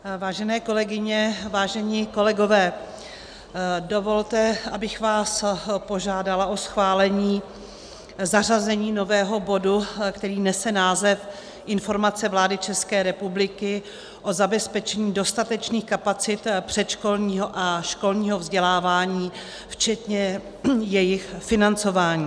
Vážené kolegyně, vážení kolegové, dovolte, abych vás požádala o schválení zařazení nového bodu, který nese název Informace vlády České republiky o zabezpečení dostatečných kapacit předškolního a školního vzdělávání včetně jejich financování.